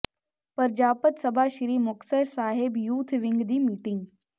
Prajapat Sabha Sri Muktsar Sahib youth wing ਦੀ meeting